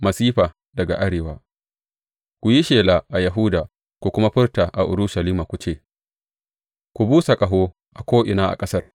Masifa daga Arewa Ku yi shela a Yahuda ku kuma furta a Urushalima ku ce, Ku busa ƙaho a ko’ina a ƙasar!’